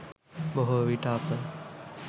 බොහෝ විට අප